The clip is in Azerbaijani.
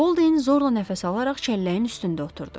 Bolde zorla nəfəs alaraq çəlləyin üstündə oturdu.